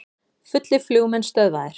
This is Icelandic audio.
Fullir flugmenn stöðvaðir